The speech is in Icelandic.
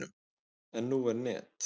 En nú er net.